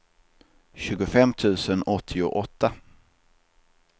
tjugofem tusen åttioåtta